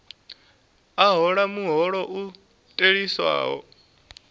a hola muholo u theliswaho